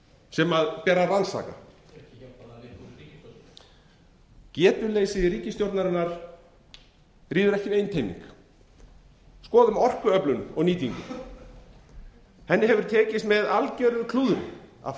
sem ber að rannsaka ekki hjálpar það ríkisstjórnarinnar getuleysi ríkisstjórnarinnar ríður ekki við einteyming skoðum orkuöflun og nýtingu henni hefur tekist með algjöru klúðri að